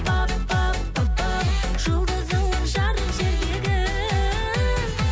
пап пап папау жұлдызыңмын жарық жердегі